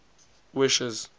wishes